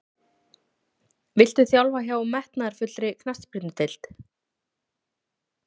Viltu þjálfa hjá metnaðarfullri knattspyrnudeild?